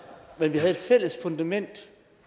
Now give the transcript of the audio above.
vi har et fælles fundament